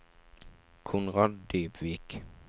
Konrad Dybvik